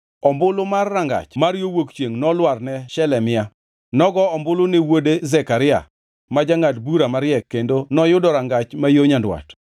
Ombulu mar Rangach ma yo Wuok Chiengʼ nolwar ne Shelemia. Nogo ombulu ne wuode Zekaria, ma jangʼad bura mariek kendo noyudo Rangach ma yo Nyandwat.